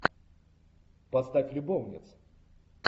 поставь любовницы